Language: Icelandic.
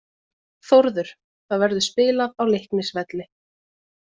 Þórður: Það verður spilað á Leiknisvelli.